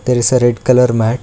there is a red colour mat.